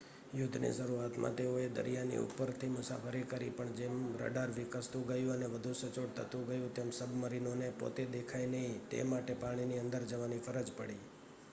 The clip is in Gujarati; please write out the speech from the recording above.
યુદ્ધની શરૂઆતમાં તેઓએ દરિયાની ઉપરથી મુસાફરી કરી પણ જેમ રડાર વિકસતું ગયું અને વધુ સચોટ થતું ગયું તેમ સબ્મરીનોને પોતે દેખાય નહીં તે માટે પાણીની અંદર જવાની ફરજ પડી